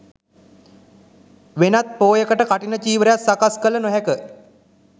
වෙනත් පෝයකට කඨින චීවරයක් සකස් කළ නොහැක.